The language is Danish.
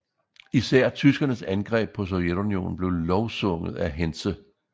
Især tyskernes angreb på Sovjetunionen blev lovsunget af Hentze